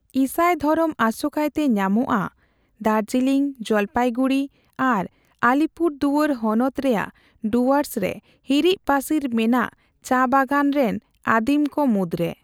ᱤᱥᱟᱹᱭ ᱫᱷᱚᱨᱚᱢ ᱟᱥᱚᱠᱟᱭᱛᱮ ᱧᱟᱢᱚᱜᱼᱟ ᱫᱟᱨᱡᱤᱞᱤᱝ, ᱡᱚᱞᱯᱟᱭᱜᱩᱲᱤ ᱟᱨ ᱟᱞᱤᱯᱩᱨᱫᱩᱣᱟᱹᱨ ᱦᱚᱱᱚᱛ ᱨᱮᱭᱟᱜ ᱰᱩᱣᱟᱹᱨᱥ ᱨᱮ ᱦᱟᱹᱨᱤᱪᱼᱯᱟᱹᱥᱤᱨ ᱢᱮᱱᱟᱜ ᱪᱟ ᱵᱟᱜᱣᱟᱱ ᱨᱮᱱ ᱟᱹᱫᱤᱢᱠᱚ ᱢᱩᱫᱨᱮ ᱾